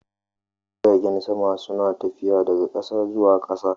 Jiragen sama suna tafiya daga ƙasa zuwa ƙasa